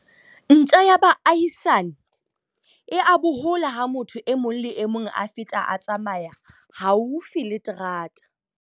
Ntja ya baahisani e a bohola ha motho e mong le e mong a feta a tsamaya haufi le terata.